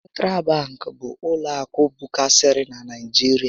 Sentral babkị bụ ụlọ akụ bụkarịsịrị na Naịjirịa